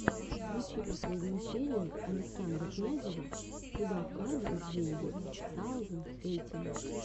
включи последнюю серию александра князева куда вкладывать деньги ту саузенд эйтин